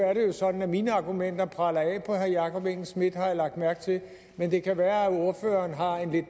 er det jo sådan at mine argumenter preller af på herre jakob engel schmidt har jeg lagt mærke til men det kan være at ordføreren har en lidt